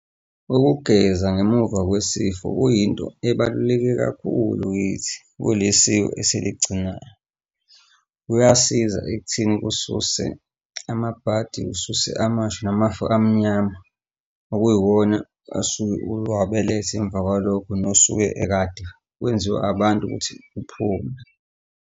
Ukugeza ngemuva kwesifo kuyinto ebaluleke kakhulu kithi kule siko esiligcinayo. Kuyasiza ekutheni kususe amabhadi, kususe amashwa namashwa amnyama, okuyiwona asuke ulwabelethe emva kwalokho nosuke ekade kwenziwe abantu ukuthi uphume.